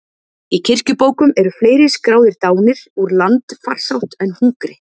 Í kirkjubókum eru fleiri skráðir dánir úr landfarsótt en hungri.